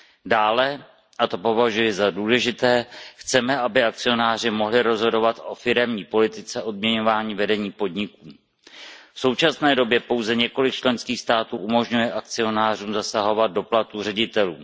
Dále, a to považuji za důležité, chceme, aby akcionáři mohli rozhodovat o firemní politice odměňování vedení podniků. V současné době pouze několik členských států umožňuje akcionářům zasahovat do platů ředitelů.